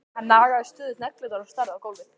Hann nagaði stöðugt neglurnar og starði á gólfið.